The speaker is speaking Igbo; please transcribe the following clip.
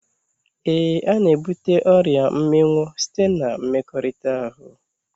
Éè, ana ebute ọrịa mminwụ site na mmekọrịta ahụ